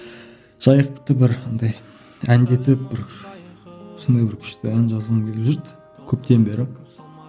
жайықты бір андай әндетіп бір сондай бір күшті ән жазғым келіп жүрді көптен бері